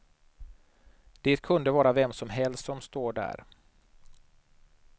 Det kunde vara vem som helst som står där.